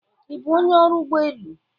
Ị bụ onye ọrụ ụgbọ elu?